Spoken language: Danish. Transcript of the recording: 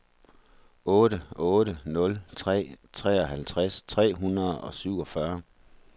otte otte nul tre treoghalvtreds tre hundrede og syvogfyrre